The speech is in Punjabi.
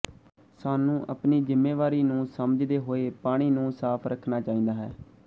ਸਾਨੂੰ ਆਪਣੀ ਜ਼ਿੰਮੇਵਾਰੀ ਨੂੰ ਸਮਝਦੇ ਹੋਏ ਪਾਣੀ ਨੂੰ ਸਾਫ਼ ਰੱਖਣਾ ਚਾਹੀਦਾ ਹੈ